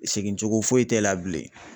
Segin cogo foyi t'e la bilen